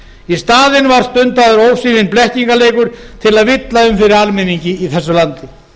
í staðinn var stundaður ósvífinn blekkingarleikur til að villa um fyrir almenningi í þessu landi